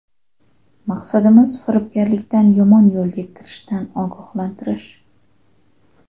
Maqsadimiz firibgarlikdan, yomon yo‘lga kirishdan ogohlantirish.